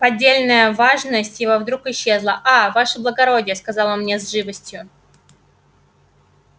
поддельная важность его вдруг исчезла а ваше благородие сказал он мне с живостью